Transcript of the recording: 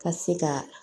Ka se ka